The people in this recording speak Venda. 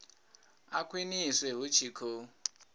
a khwiniswe hu tshi khou